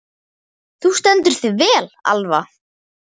Þú stendur þig vel, Alva!